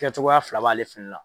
Kɛcogoya fila b'ale fɛnɛ la.